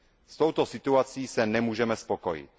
S touto situací se nemůžeme spokojit.